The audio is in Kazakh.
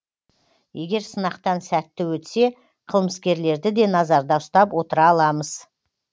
егер сынақтан сәтті өтсе қылмыскерлерді де назарда ұстап отыра аламыз